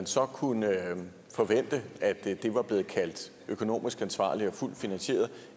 så kunnet forvente at det var blevet kaldt økonomisk ansvarligt og fuldt finansieret